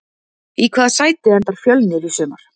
Í hvaða sæti endar Fjölnir í sumar?